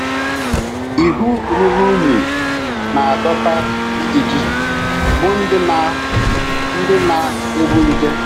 Ihu ruru unyi na - adọta ijiji, bụ́ ndị na - ndị na - ebu nje.